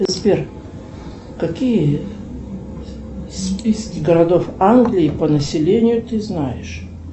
сбер какие списки городов англии по населению ты знаешь